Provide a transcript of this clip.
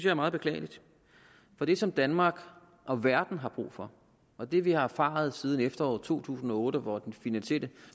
er meget beklageligt for det som danmark og verden har brug for og det vi har erfaret siden efteråret to tusind og otte hvor den finansielle